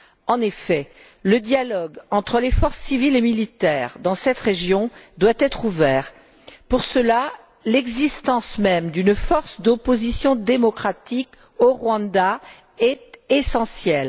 En effet, le dialogue entre les forces civiles et militaires dans cette région doit être ouvert. Pour cela, l'existence même d'une force d'opposition démocratique au Rwanda est essentielle.